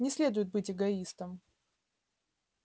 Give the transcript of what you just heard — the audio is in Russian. не следует быть эгоистом